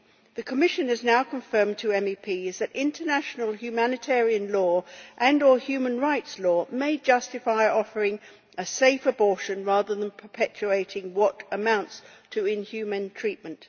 The Commission has now confirmed to MEPs that international humanitarian law and or human rights law may justify offering a safe abortion, rather than perpetuating what amounts to inhumane treatment.